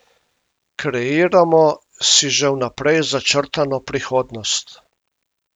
Kreiramo si že vnaprej začrtano prihodnost.